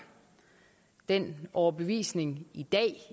den overbevisning